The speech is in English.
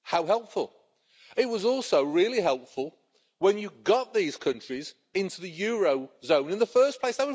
How helpful. It was also really helpful when you got these countries into the eurozone in the first place.